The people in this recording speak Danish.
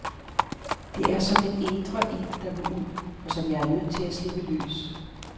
Det er som en indre ild, der vil ud, og som jeg er nødt til at slippe løs.